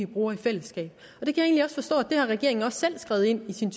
bruger i fællesskab og regeringen selv har skrevet ind i sin